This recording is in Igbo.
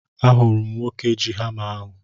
Ahụrụ m nwoke ji hama ahu